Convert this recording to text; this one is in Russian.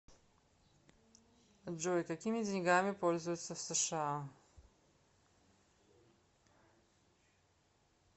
джой какими деньгами пользуются в сша